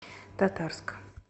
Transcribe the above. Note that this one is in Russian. татарск